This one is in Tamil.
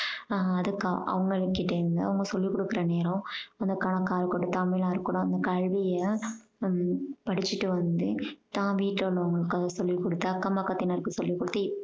ஆஹ் அதுக்கு அவங்க கிட்டேருந்து அங்க குருகுலத்துல நேரம் அங்க கொடுக்காமலா இருக்கணும் அந்த கல்விய உம் படிச்சுட்டு வந்து தான் வீட்டுல உள்ளவங்களுக்கு அதை சொல்லி கொடுத்து அக்கம் பக்கத்தினருக்கு சொல்லி கொடுத்து